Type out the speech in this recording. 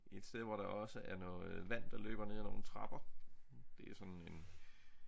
Et sted hvor der også er noget vand der løber ned ad nogle trapper det er sådan en